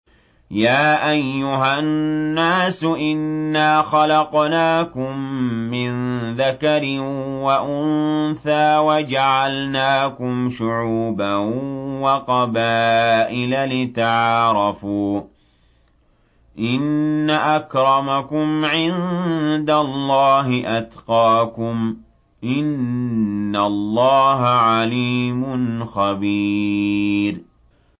يَا أَيُّهَا النَّاسُ إِنَّا خَلَقْنَاكُم مِّن ذَكَرٍ وَأُنثَىٰ وَجَعَلْنَاكُمْ شُعُوبًا وَقَبَائِلَ لِتَعَارَفُوا ۚ إِنَّ أَكْرَمَكُمْ عِندَ اللَّهِ أَتْقَاكُمْ ۚ إِنَّ اللَّهَ عَلِيمٌ خَبِيرٌ